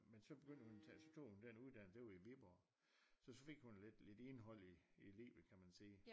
Men så begyndte hun at tage så tog hun den uddannelse og det jo i Viborg så så fik hun lidt indhold i livet kan man sige